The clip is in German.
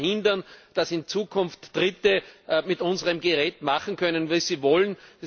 Wir wollen verhindern, dass in Zukunft Dritte mit unserem Gerät machen können, wie sie wollen.